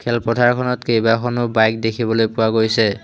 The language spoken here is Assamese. এই পথাৰখনত কেইবাখনো বাইক দেখিবলৈ পোৱা গৈছে।